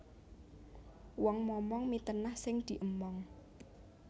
Wong momong mitenah sing diemong